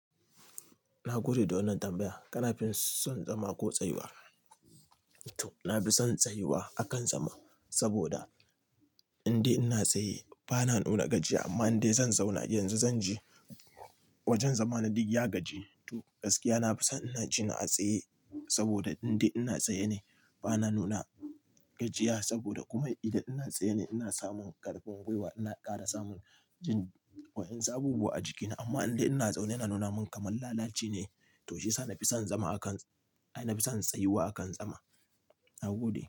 Na gode da wannan tambaya. Kanafin son zama ko tsayuwa? To, na fi son tsayuwa a kan zama, saboda indai ina tsaye bana nuna gajiya amma indai zan zauna yanzu zan ji, wajen zama na duk ya gaji. Toh, gaskiya na fi son ina ji na a tsaye, saboda indai ina tsaye ne bana nuna gajiya, saboda kuma idan ina tsaye ne ina samun ƙarfin gwiwa. Ina ƙara samun jin wa'insu abubuwa a jikina, amma indai ina zaune yana nuna min kaman lalaci ne. To shiyasa na fi son zama a kan-- ai na fi son tsayuwa a kan zama. Na gode.